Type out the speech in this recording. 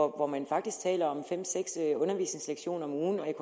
hvor man faktisk taler om fem seks undervisningslektioner om ugen